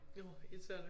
Årh irriterende